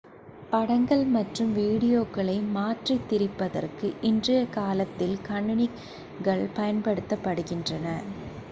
படங்கள் மற்றும் வீடியோக்களை மாற்றித் திரிப்பதற்கு இன்றைய காலத்தில் கணினிகள் பயன்படுத்தப்படுகின்றன